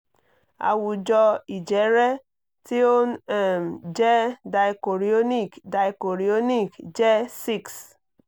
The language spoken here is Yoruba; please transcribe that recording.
àwùjọ ìjẹ́rẹ́ tí ó ń um jẹ́ dichorionic dichorionic jẹ́ six